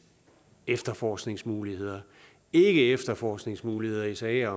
efterforskningsmuligheder ikke efterforskningsmuligheder i sager